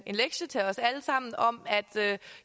en lektie til os alle sammen om at